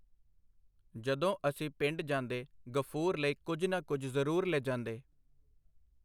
ਜਦੋਂ ਅਸੀਂ ਪਿੰਡ ਜਾਂਦੇ ਗ਼ਫੂਰ ਲਈ ਕੁਝ ਨਾ ਕੁਝ ਜ਼ਰੂਰ ਲਿਜਾਂਦੇ.